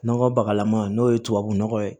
Nɔgɔ bakalaman n'o ye tubabu nɔgɔ ye